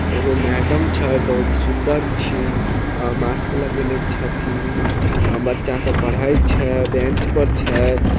एगो मैडम छ बड़ी सुंदर छी अ-मास्क लगाइले छ थीन अ बच्चा स पढ़ई छ बेंच पर छ।